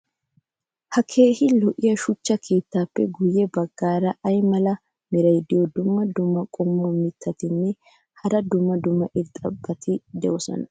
ha keehi lo'iya shuchcha keettaappe guye bagaara ayi mala meray diyo dumma dumma qommo mittatinne hara dumma dumma irxxabati de'iyoonaa?